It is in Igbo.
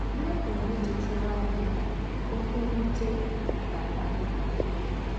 Baị́bụ̀l ná-èchètàrà ànyì ná ókwú m̀wùtè ná-àkpálì íwè.